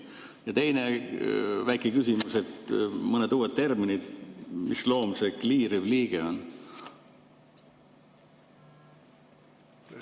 Ja teine väike küsimus mõne uue termini kohta: mis loom see kliiriv liige on?